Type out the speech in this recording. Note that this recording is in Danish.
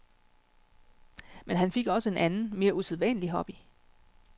Men han fik også en anden, mere usædvanlig hobby.